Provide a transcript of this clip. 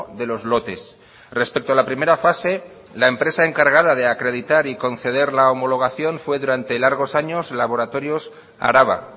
de los lotes respecto a la primera fase la empresa encargada de acreditar y conceder la homologación fue durante largos años laboratorios araba